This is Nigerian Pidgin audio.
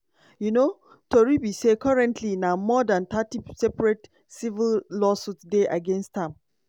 um tori be say currently na more dan thirty separate civil lawsuits dey against am.